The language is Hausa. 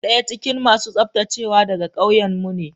Daya cikin masu tsaftacewa daga kauyenmu ne.